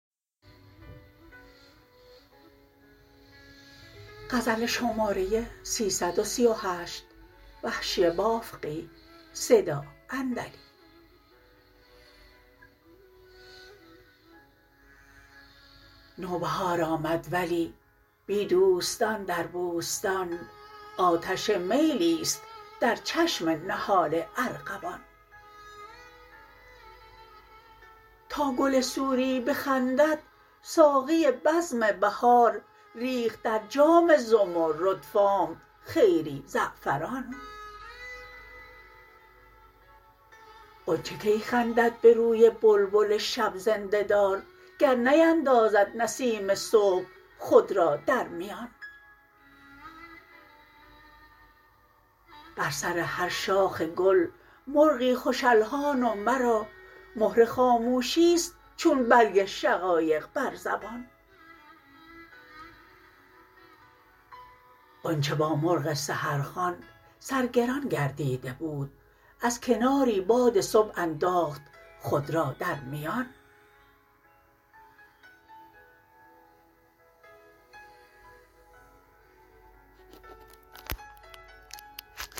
نوبهار آمد ولی بی دوستان در بوستان آتشین میلیست در چشمم نهال ارغوان تا گل سوری بخندد ساقی بزم بهار ریخت در جام زمرد فام خیری زعفران غنچه کی خندد به روی بلبل شب زنده دار گر نیندازد نسیم صبح خود را در میان بر سر هر شاخ گل مرغی خوش الحان و مرا مهر خاموشیست چون برگ شقایق بر زبان غنچه با مرغ سحر خوان سرگران گردیده بود از کناری باد صبح انداخت خود را در میان